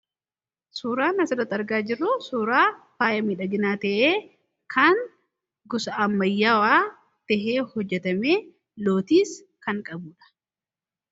Suuraan asirratti argaa jirru suuraa faaya miidhaginaa tahee kan gosa ammayyaawaa tahee hojjetamee lootiis kan qabuudha.